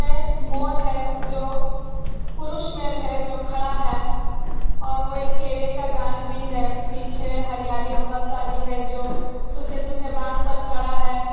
यह मोर है जो पुरुष मेल है जो खड़ा है और वो एक केले का गाछ भी है पीछे हरियाली बहुत सारी है जो सूखे सूखे बांस पे खड़ा है।